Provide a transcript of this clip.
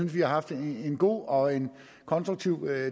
vi har haft en god og en konstruktiv